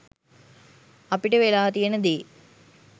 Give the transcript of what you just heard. අපිට වෙලා තියෙන දේ